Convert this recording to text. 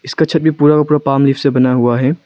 इसका छत भी पूरा का पूरा पॉम लीव बना हुआ है।